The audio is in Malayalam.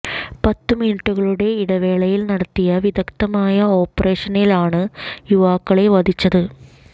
പത്ത് മിനിറ്റുകളുടെ ഇടവേളയിൽ നടത്തിയ വിദഗ്ധമായ ഓപ്പറേഷനിലാണ് യുവാക്കളെ വധിച്ചത്